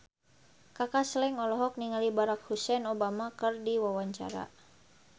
Kaka Slank olohok ningali Barack Hussein Obama keur diwawancara